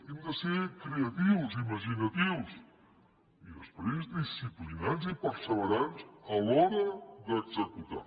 hem de ser creatius imaginatius i després disciplinats i perseverants a l’hora d’executar